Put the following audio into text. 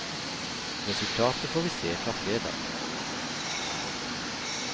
Resultatet får vi se fra fredag.